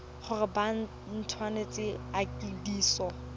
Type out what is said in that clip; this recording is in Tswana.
gore ba nt hwafatse ikwadiso